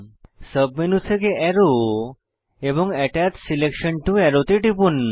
submenu থেকে arrow এবং attach selection to arrow তে টিপুন